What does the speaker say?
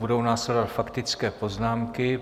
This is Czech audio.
Budou následovat faktické poznámky.